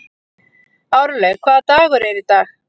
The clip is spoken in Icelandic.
Árlaug, hvaða dagur er í dag?